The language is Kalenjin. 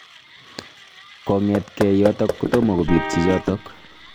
Kongetkei yotok kotomo kobit chichotok.